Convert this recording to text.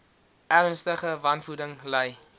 ernstige wanvoeding ly